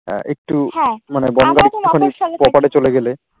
একটু